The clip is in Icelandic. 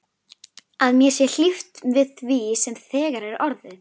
Að mér sé hlíft við því sem þegar er orðið.